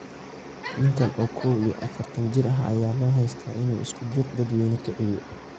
Ninkan oo koow iyo afaartan jir ah ayaa loo haystaa inuu iskudir dadweyne kiciye.